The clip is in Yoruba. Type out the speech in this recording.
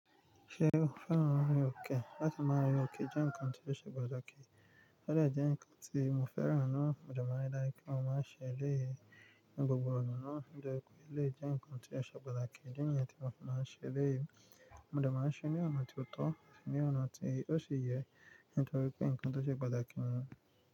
Ṣé o féràn rin oke? Láti máa rin oke jẹ́ ǹkan tí ó ṣe pataki. O de jẹ́ ǹkan tí mo féràn naa, mo dẹ̀ máa n ri daju pe mo máa n se eleyii ni gbogbo ọ̀nà náà nitori pé eleyii jẹ́ ǹkan tí ó ṣe pataki. Idi niyẹn tí mo fi máa n ṣe eleyii. Mo dẹ̀ máa n ṣe ní ọ̀nà tí ó tọ́, ati ní ọ̀nà tí ó ṣi yẹ, nítorí pé ǹkan tó ṣe pataki ni.